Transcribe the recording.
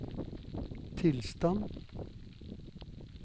tilstand